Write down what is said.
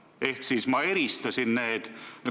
Ehk ma eristasin need.